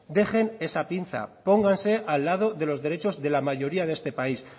dejen esa pinza póngase al lado de los derechos de la mayoría de este país